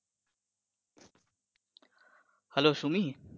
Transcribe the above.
Hello Sumi.